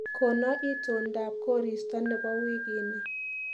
Kono itondab koristo nebo wiikini